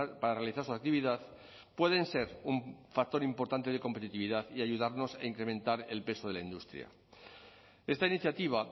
para realizar su actividad pueden ser un factor importante de competitividad y ayudarnos a incrementar el peso de la industria esta iniciativa